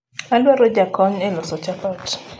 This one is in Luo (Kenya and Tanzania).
adwaro jakony e loso chapat